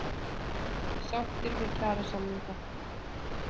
Sáttir við kjarasamninga